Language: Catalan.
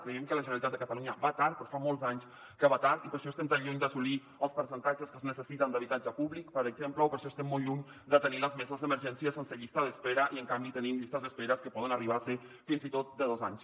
creiem que la generalitat de catalunya va tard però fa molts anys que va tard i per això estem tan lluny d’assolir els percentatges que es necessiten d’habitatge públic per exemple o per això estem molt lluny de tenir les meses d’emergència sense llista d’espera i en canvi tenim llistes d’espera que poden arribar a ser fins i tot de dos anys